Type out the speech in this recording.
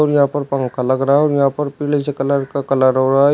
और यहां पर पंखा लग रहा है और यहां पर पीले से कलर का कलर हो रहा है।